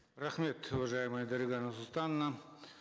рахмет уважаемая дарига нурсултановна